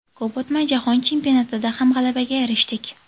Ko‘p o‘tmay, jahon chempionatida ham g‘alabaga erishdik.